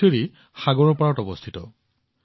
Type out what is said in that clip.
পুডুচেৰী সাগৰৰ পাৰত অৱস্থিত